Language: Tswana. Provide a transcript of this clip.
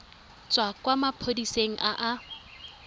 tswa kwa maphodiseng a a